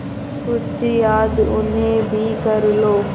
कुछ याद उन्हें भी कर लो